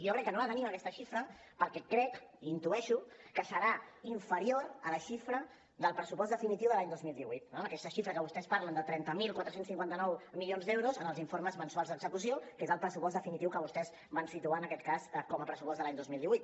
jo crec que no la tenim aquesta xifra perquè crec i intueixo que serà inferior a la xifra del pressupost definitiu de l’any dos mil divuit no aquesta xifra que vostès parlen de trenta mil quatre cents i cinquanta nou milions d’euros en els informes mensuals d’execució que és el pressupost definitiu que vostès van situar en aquest cas com a pressupost de l’any dos mil divuit